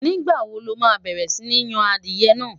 nígbà wò loma bẹrẹ Si Yàn adìe nà?